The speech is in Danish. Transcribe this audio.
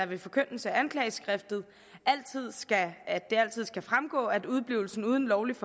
ved forkyndelse af anklageskriftet altid skal fremgå at udeblivelse uden lovligt